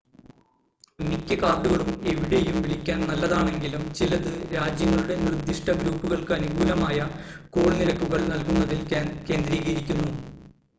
മിക്ക കാർഡുകളും എവിടെയും വിളിക്കാൻ നല്ലതാണെങ്കിലും ചിലത് രാജ്യങ്ങളുടെ നിർദിഷ്‌ട ഗ്രൂപ്പുകൾക്ക് അനുകൂലമായ കോൾ നിരക്കുകൾ നൽകുന്നതിൽ കേന്ദ്രീകരിക്കുന്നു